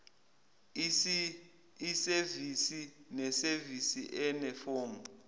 isevisi nesevisi inefomu